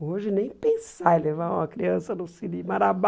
Hoje nem pensar em levar uma criança no cine Marabá.